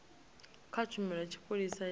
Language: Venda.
kha tshumelo ya tshipholisa ya